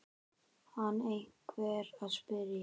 kann einhver að spyrja.